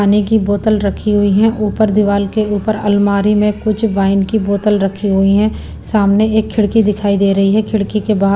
पानी की बोतल रखी हुई है ऊपर दीवार के ऊपर अलमारी में कुछ वाइन की बोतल रखी हुई है सामने एक खिड़की दिखाई दे रही है खिड़की के बाद--